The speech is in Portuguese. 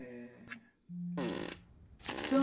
é... Então,